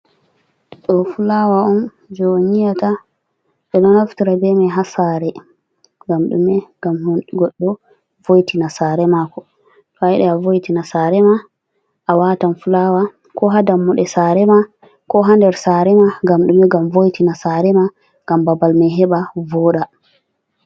Do fulaawa on je on yi'ata ɓeɗa naftira bemai ha saare ngam ɗume ngam goɗɗo vo'tina saare mako to a yidi a voitina sare ma a watan fulaawa ko ha dammude sarema ko ha nder saare ma ngam ɗume ngam vo'itina saare ma ngam babal ma heba voɗa.